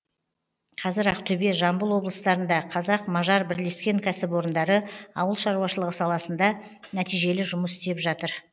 қазір ақтөбе жамбыл облыстарында қазақ мажар бірлескен кәсіпорындары ауыл шаруашылығы саласында нәтижелі жұмыс істеп жатыр